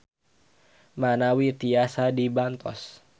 Manawi tiasa dibantos.